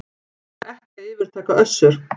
Þarf ekki að yfirtaka Össur